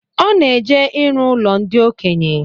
Ọ na-eji irụ ụlo ndi okenye